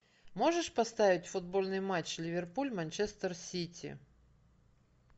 можешь поставить футбольный матч ливерпуль манчестер сити